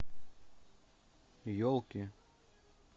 елки